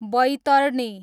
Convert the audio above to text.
Baitarani